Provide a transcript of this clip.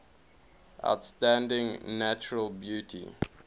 outstanding natural beauty